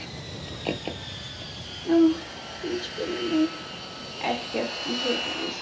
Hún spurði mig: ekkert í höfðinu?